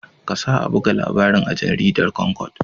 Kasa a buga labarin a jaridar Concord.